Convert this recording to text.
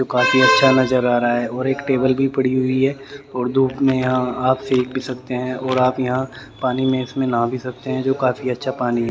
जो काफी अच्छा नजर आ रहा है और एक टेबल भी पड़ी हुई है और धूप में यहां आप सेक भी सकते हैं और आप यहां पानी में इसमें नाहां भी सकते हैं जो काफी अच्छा पानी--